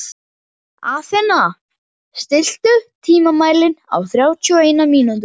Athena, stilltu tímamælinn á þrjátíu og eina mínútur.